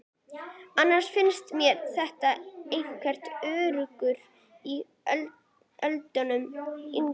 Annars finnst mér vera einhver urgur í Öldu yngri.